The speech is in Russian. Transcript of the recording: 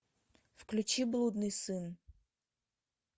включи блудный сын